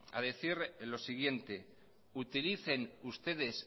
a decir lo siguiente utilicen ustedes